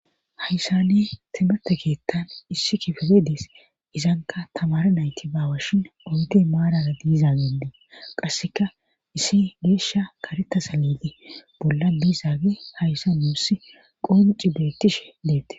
hayssane timate keettan issi kifere dees izanka tamara nayti baawashin enta maarara diizaagendee qasseka issi geeshsha kareta sa liile bolla diizaage hayssa nuussi qonci beettishe deette